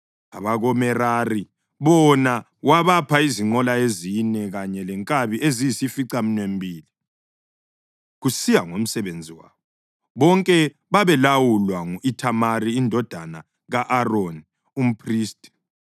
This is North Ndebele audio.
abakoMerari bona wabapha izinqola ezine kanye lenkabi eziyisificaminwembili, kusiya ngomsebenzi wabo. Bonke babelawulwa ngu-Ithamari indodana ka-Aroni, umphristi.